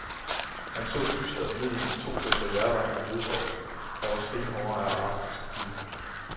Han så dystert ned i de to dåser hjerter i flødesovs, der var stenhårde af arktisk kulde.